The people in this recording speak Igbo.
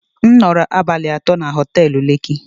M nọrọ abalị atọ na họtelu lekki